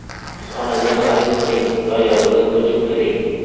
Xonadon xarid qiling va yozda ko‘chib kiring.